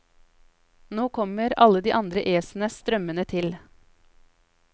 Nå kommer alle de andre æsene strømmende til.